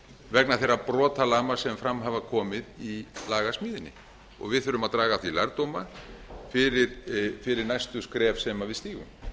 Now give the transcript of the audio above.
vegna þeirra brotalama sem fram hafa komið í lagasmíðinni og við þurfum að draga af því lærdóma fyrir næstu skref sem við stígum